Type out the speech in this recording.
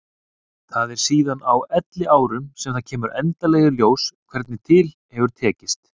Það er síðan á elliárunum sem það kemur endanlega í ljós hvernig til hefur tekist.